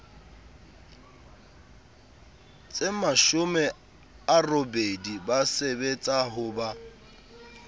tsemashome a robedi ba sebetsahoba